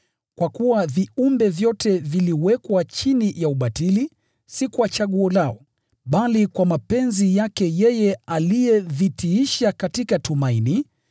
Kwa kuwa viumbe vyote viliwekwa chini ya ubatili, si kwa chaguo lao, bali kwa mapenzi yake yeye aliyevitiisha katika tumaini,